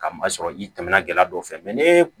Ka maa sɔrɔ i tɛmɛna gɛlɛya dɔw fɛ ne